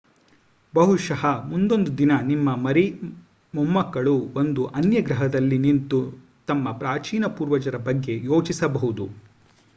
ಬಹುಶಃ ಮುಂದೊಂದು ದಿನ ನಿಮ್ಮ ಮರಿ ಮೊಮ್ಮಕ್ಕಳು ಒಂದು ಅನ್ಯ ಗ್ರಹದಲ್ಲಿ ನಿಂತು ತಮ್ಮ ಪ್ರಾಚೀನ ಪೂರ್ವಜರ ಬಗ್ಗೆ ಯೋಚಿಸಬಹುದು